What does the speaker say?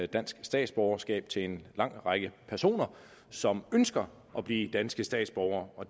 dansk statsborgerskab til en lang række personer som ønsker at blive danske statsborgere og